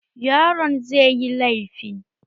Yaron zai yi laifi